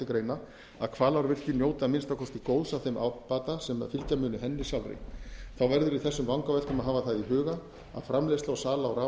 greina að hvalárvirkjun njóti að minnsta kosti góðs af þeim ábata sem mundi fylgja henni sjálfri þá verður í þessum vangaveltum að hafa það í huga að framleiðsla og sala á raforku